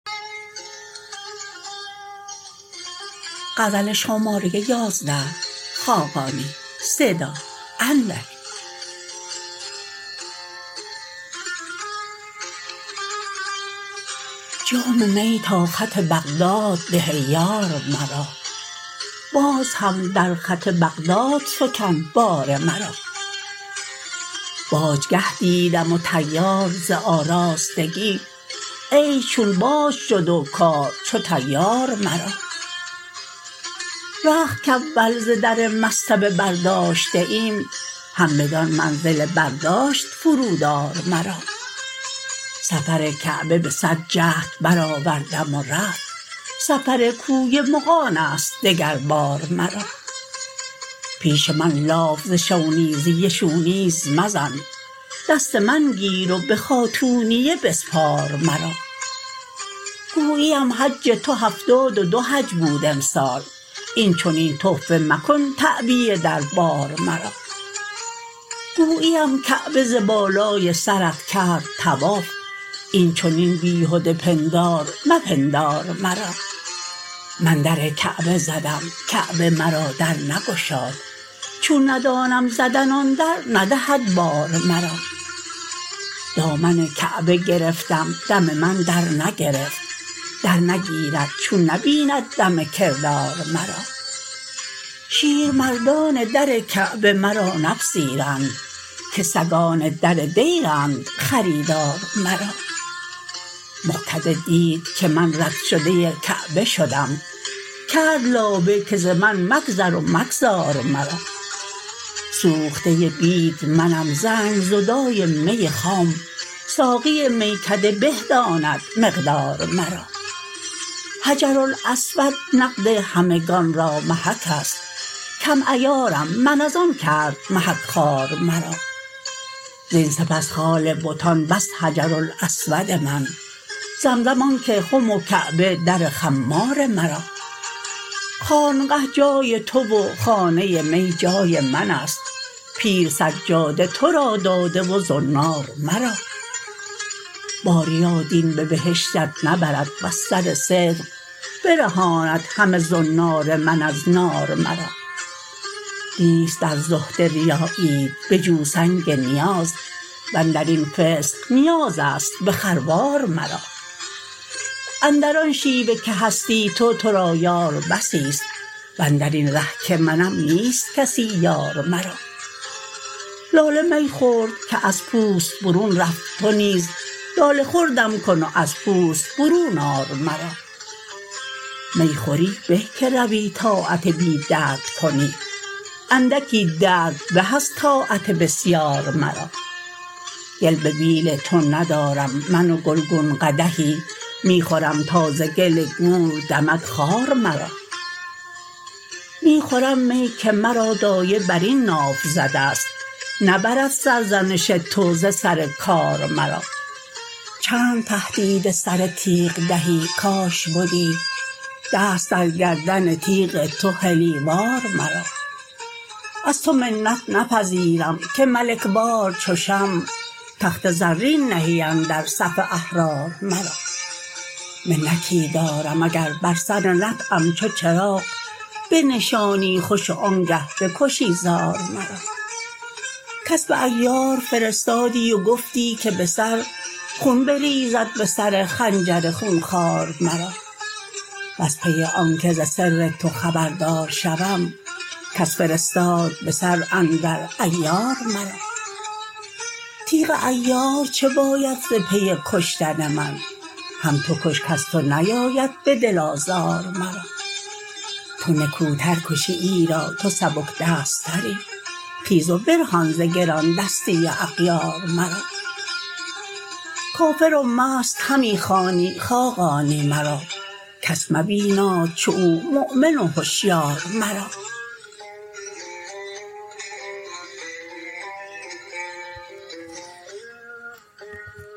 جام می تا خط بغداد ده ای یار مرا باز هم در خط بغداد فکن بار مرا باجگه دیدم و طیار وز آراستگی عیش چون باج شد و کار چو طیار مرا رخت کاول ز در مصطبه برداشتیم هم بدان منزل برداشت فرود آر مرا سفر کعبه به صد جهد برآوردم و رفت سفر کوی مغان است دگر بار مرا پیش من لاف ز شونیزیه شو نیز مزن دست من گیر و به خاتونیه بسپار مرا گویی ام حج تو هفتاد و دو حج بود امسال اینچنین سفته مکن تعبیه در بار مرا گویی ام کعبه ز بالای سرت کرد طواف این چنین بیهده پندار مپندار مرا من در کعبه زدم کعبه مرا در نگذاشت چون ندانم زدن آن در ندهد بار مرا دامن کعبه گرفتم دم من در نگرفت در نگیرد چو نبیند دم کردار مرا مغ کده دید که من رد شده کعبه شدم کرد لابه که ز من مگذر و مگذار مرا شیر مردان در کعبه مرا نپذیرند که سگان در دیرند خریدار مرا سوخته بید منم زنگ زدای می خام ساقی میکده به داند مقدار مرا حجرالاسود نقد همگان را محک است کم عیارم من از آن کرد محک خوار مرا زین سپس خال بتان بس حجرالاسود من زمزم آنک خم و کعبه در خمار مرا خانقه جای تو و خانه می جای من است پیر سجاده تو را داده و زنار مرا باریا دین به بهشتت نبرد وز سر صدق برهاندهم زنار من از نار مرا نیست در زهد ریاییت به جو سنگ نیاز واندر این فسق نیازیست به خروار مرا اندران شیوه که هستی تو تو را یار بسی است و اندرین تو که منم نیست کسی یار مرا می خوری به که روی طاعت بی درد کنی اندکی درد به از طاعت بسیار مرا لاله می خورد که از پوست برون رفت تو نیز لاله خوردم کن و از پوست برون آر مرا گل به بیل تو ندارم من و گلگون قدحی می خورم تا ز گل گور دمد خار مرا می خورم می که مرا دایه بر این ناف زده است نبرد سرزنش تو ز سر کار مرا چند تهدید سر و تیغ دهی کاش بدی دست در گردن تیغ تو حلی وار مرا از تو منت نپذیرم که ملک وار چو شمع تخت زرین نهی اندر صف احرار مرا منتی دارم اگر بر سر نطعم چو چراغ بنشانی خوش و آنگه بکشی زار مرا کس به عیار فرستادی و گفتی که به سر خون بریزد به سر خنجر خونخوار مرا وز پی آنکه ز سر تو خبردار شوم کس فرستاد به سر اندر عیار مرا تیغ عیار چه باید ز پی کشتن من هم تو کش کز تو نیاید به دل آزار مرا تو نکوتر کشی ایرا تو سبک دست تری خیز برهان ز گراندستی اغیار مرا کافر و مست همی خوانی خاقانی را کس مبیناد چو تو مؤمن هشیار مرا